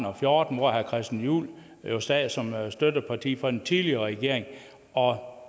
og fjorten hvor herre christian juhl jo sad som støtteparti for en tidligere regering og